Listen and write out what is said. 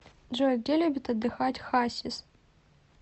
джой где любит отдыхать хасис